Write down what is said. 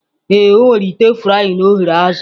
Ee, o were ite frying ghere azụ